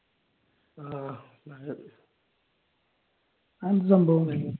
അതെന്താ സംഭവം